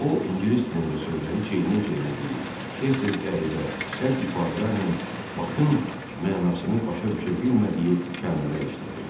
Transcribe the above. O ingilis dilində sözləri çeynəyə-çeynəyə deyir, tez-tez qəribə, sərt ifadələrlə Bakın mənasını başa düşə bilmədiyi kəlmələr işlədirdi.